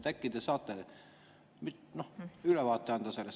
Äkki te saate anda sellest ülevaate?